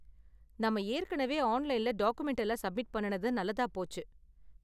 நாம ஏற்கனவே ஆன்லைன்ல டாக்குமென்ட் எல்லாம் சப்மிட் பண்ணுனது நல்லதா போச்சு.